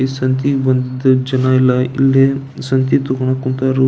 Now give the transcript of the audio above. ಈ ಸಂತೆ ಬಂದ್ ಜನ ಎಲ್ಲ ಇಲ್ಲಿ ಸಂತೆ ತಗೋಣಾಕ್ ಹೊಂಟರು.